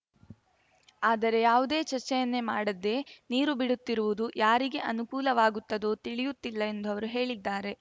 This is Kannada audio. ಆದರೆ ಯಾವುದೇ ಚರ್ಚೆಯನ್ನೇ ಮಾಡದೇ ನೀರು ಬಿಡುತ್ತಿರುವುದು ಯಾರಿಗೆ ಅನುಕೂಲವಾಗುತ್ತದೋ ತಿಳಿಯುತ್ತಿಲ್ಲ ಎಂದು ಅವರು ಹೇಳಿದ್ದಾರೆ